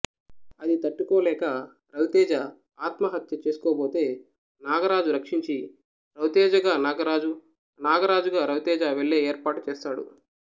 అది తట్టుకోలేక రవితేజ ఆత్మహత్య చేసుకోబోతే నాగరాజు రక్షించి రవితేజగా నాగరాజు నాగరాజుగా రవితేజ వెళ్ళే ఏర్పాటు చేస్తాడు